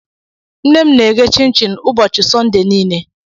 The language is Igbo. Nne m na-eghe chinchin ụbọchị Sọnde niile.